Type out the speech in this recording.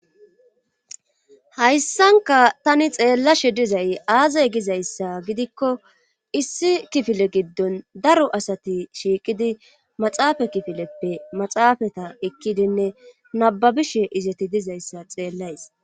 Hayssankka tani xeellashe dizay aazay gizayssa gidikko issi kifile giddon daro asati shiiqidi maxaafa kifileppe maxaafata ekkidinne nababishe izetti dizayssa xeellays.